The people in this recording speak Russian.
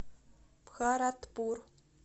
бхаратпур